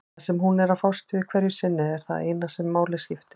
Það sem hún er að fást við hverju sinni er það eina sem máli skiptir.